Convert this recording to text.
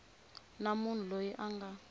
na munhu loyi a nga